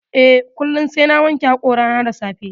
Eh. kullum sai na wanke hoƙorana da safe